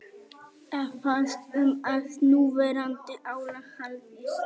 Efast um að núverandi álag haldist